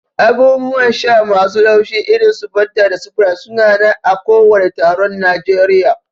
Abubuwan sha masu laushi irin su Fanta da Sprite su na nan a kowani taron Najeriya.